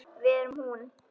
Við erum hún.